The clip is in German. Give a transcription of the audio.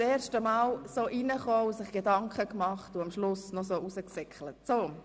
Sich das erste Mal beim Hereinkommen solche Gedanken zu machen und am Schluss dann so herauszurennen!